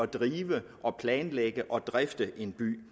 at drive og planlægge og drifte en by